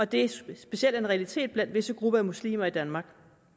det specielt er en realitet blandt visse grupper af muslimer i danmark